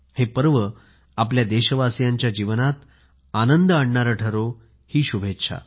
हे पर्व आपल्या देशवासीयांच्या जीवनात आनंददायी राहो या शुभेच्छा